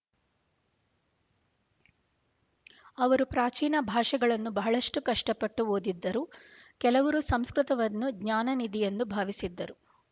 ಅವರು ಪ್ರಾಚೀನ ಭಾಷೆಗಳನ್ನು ಬಹಳಷ್ಟು ಕಷ್ಟಪಟ್ಟು ಓದಿದ್ದರು ಕೆಲವರು ಸಂಸ್ಕೃತ ವನ್ನು ಜ್ಞಾನನಿಧಿಯೆಂದು ಭಾವಿಸಿದ್ದರು